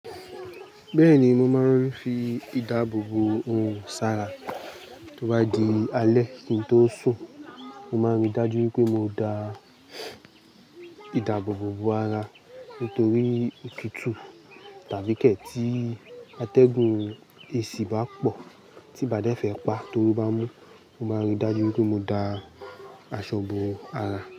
Bẹ́ẹ̀ni, mo máa ńfi ìdáàbò bo orun sára. Tí ó bá di alẹ́ kí n tó sùn, mo máa n rí dájú pé mo da ìdáàbboò bo ara nítorí òtútù tàbí kẹ ti atẹ́gùn eèsì bá pọ̀ tí n bá dẹ́ fẹ̀ pa t'oru bá mú, mo máa n rí dájú pé mo da aṣọ bo ara.